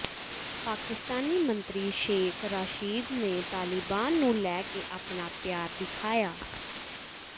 ਪਾਕਿਸਤਾਨੀ ਮੰਤਰੀ ਸ਼ੇਖ ਰਾਸ਼ਿਦ ਨੇ ਤਾਲਿਬਾਨ ਨੂੰ ਲੈ ਕੇ ਆਪਣਾ ਪਿਆਰ ਦਿਖਾਇਆ